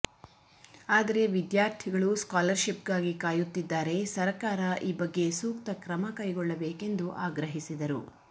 ಆದರೆ ವಿದ್ಯಾರ್ಥಿಗಳು ಸ್ಕಾಲರ್ಶಿಪ್ಗಾಗಿ ಕಾಯುತ್ತಿದ್ದಾರೆ ಸರಕಾರ ಈ ಬಗ್ಗೆ ಸೂಕ್ತ ಕ್ರಮ ಕೈಗೊಳ್ಳಬೇಕೆಂದು ಆಗ್ರಹಿಸಿದರು